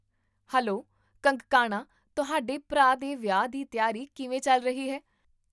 Hello Kangkana ਤੁਹਾਡੇ ਭਰਾ ਦੇ ਵਿਆਹ ਦੀ ਤਿਆਰੀ ਕਿਵੇਂ ਚੱਲ ਰਹੀ ਹੈ?